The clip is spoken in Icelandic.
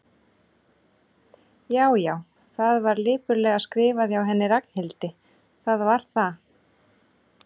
Já, já, þetta var lipurlega skrifað hjá henni Ragnhildi, það var það.